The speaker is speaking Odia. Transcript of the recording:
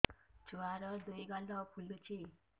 ଛୁଆର୍ ଦୁଇ ଗାଲ ଫୁଲିଚି